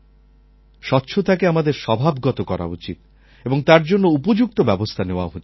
স্বচ্ছতাকে আমাদের স্বভাবগত করা উচিত এবং তার জন্য উপযুক্ত ব্যবস্থা নেওয়া উচিত